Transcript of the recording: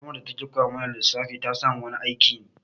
Malamar da ta ke koya mana lissafi ta samu wani aikin